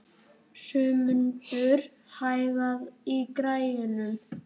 Jómundur, hækkaðu í græjunum.